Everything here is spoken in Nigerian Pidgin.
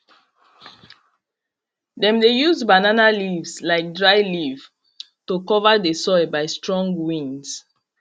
dem de use banana leaves like dryleaf to cover de soil by strong winds